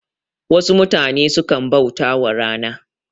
Wasu mutane sukan bautawa rana